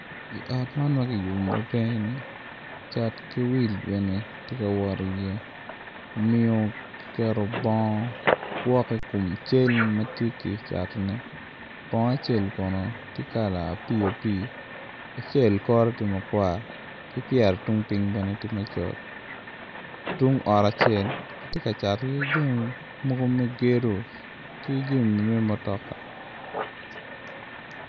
I ot man ma kiyubo ma ka eni cat ki wil bene tye ka wot iye omiyo kiketo bongo kwok i kom cal ma kitye ka catone bongo acel kono tye kala apii apii acel kore tye makwar ki pyere tung piny bene tye macol tung ot acel kitye ka cato iye jami mogo me gedo ki jami me mutoka.